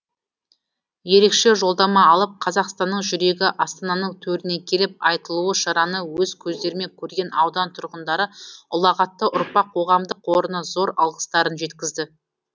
ерекше жолдама алып қазақстанның жүрегі астананың төріне келіп айтулы шараны өз көздерімен көрген аудан тұрғындары ұлағатты ұрпақ қоғамдық қорына зор алғыстарын жеткізді